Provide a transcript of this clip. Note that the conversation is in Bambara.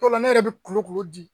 don dɔ ne yɛrɛ bɛ kulokulo di